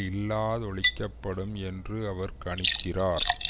இல்லாதொழிக்கப்படும் என்று அவர் கணிக்கிறார்